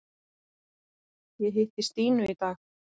Ég hitti Stínu í dag.